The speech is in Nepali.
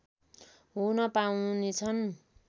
हुन पाउनेछन्